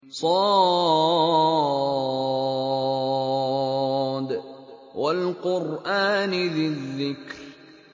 ص ۚ وَالْقُرْآنِ ذِي الذِّكْرِ